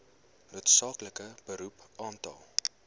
noodsaaklike beroep aantal